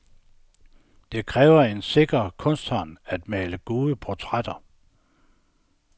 Det kræver en sikker kunstnerhånd, at male gode portrætter.